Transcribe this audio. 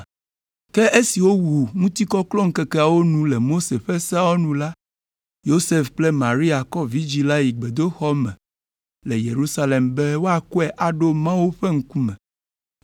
Ke esi wowu ŋutikɔklɔŋkekeawo nu le Mose ƒe seawo nu la, Yosef kple Maria kɔ vidzĩ la yi gbedoxɔ me le Yerusalem be woakɔe aɖo Mawu ƒe ŋkume